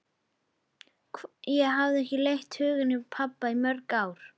Ég hafði ekki leitt hugann að pabba í mörg ár.